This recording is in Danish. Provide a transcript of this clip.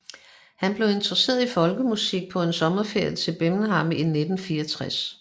Han blev interesseret i folkemusik på en sommerferie til Birmingham i 1964